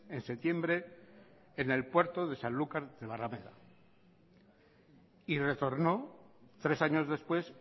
en septiembre en el puerto de sanlúcar de barrameda y retornó tres años después